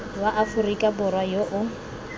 wa aforika borwa yo o